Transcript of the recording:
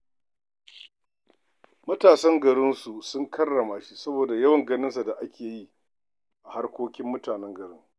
Matasan garinsu sun karrama shi saboda yawan ganin sa da ake yi a harkokin mutanen garin.